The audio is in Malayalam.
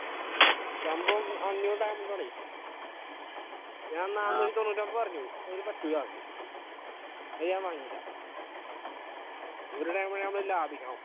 സംഭവം അഞ്ഞൂറ് ഞാൻ നാന്നൂറ്റി തൊണ്ണൂറ്റി ഒൻപത് പറഞ്ഞു ഓന് പറ്റൂല്ലാന്നൊക്കെ അത് ഞാൻ വാങ്ങില്ല ഒരു എങ്കിലും ലഭിക്കണം